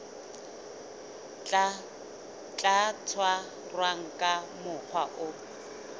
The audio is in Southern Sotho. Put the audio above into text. tla tshwarwa ka mokgwa o